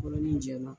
Yɔrɔnin jɛma